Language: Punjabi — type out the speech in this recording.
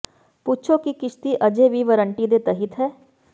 ਪੁੱਛੋ ਕਿ ਕਿਸ਼ਤੀ ਅਜੇ ਵੀ ਵਾਰੰਟੀ ਦੇ ਤਹਿਤ ਹੈ